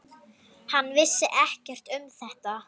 Hann vissi ekkert um þetta.